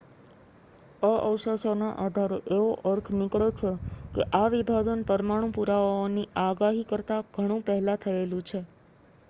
આ અવશેષોના આધારે એવો અર્થ નીકળે છે કે આ વિભાજન પરમાણુ પુરાવાઓની આગાહી કરતા ઘણું પહેલા થયેલું છે